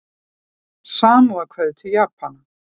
Samúðarkveðjur til Japana